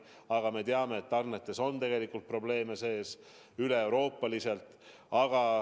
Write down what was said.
Samas me teame, et tarnetes on probleeme üle Euroopa.